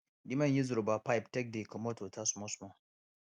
the man use rubber pipe take dey comot water smallsmall